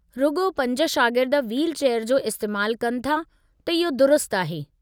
रुॻो पंज शागिर्द व्हीलचेयर जो इस्तेमाल कनि था, त इहो दुरुस्तु आहे।